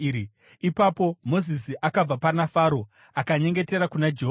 Ipapo Mozisi akabva pana Faro akanyengetera kuna Jehovha.